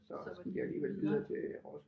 Så var de videre